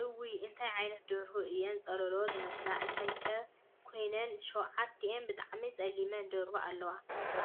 እውይ! እንታይ ዓይነት ደርሁ እየን ፀሎሎ ዝመስላ ።እንታይ ከ ኮይነን 7ቲኣን ብጣዕሚ ፀለምቲ ደርሁ ኣለዋ።